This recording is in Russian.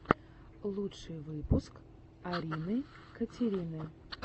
лучший выпуск арины катерины